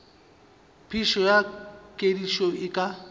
phišo ya kedišo e ka